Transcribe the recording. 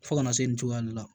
Fo kana se nin cogoya de la